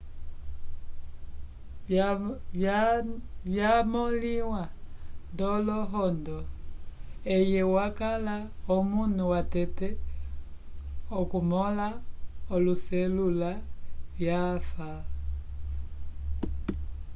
vyamõliwa nd'olohondo eye wakala omunu watete okumõla oloselula vyafa